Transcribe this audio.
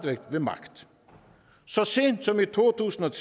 væk ved magt så sent som i to tusind og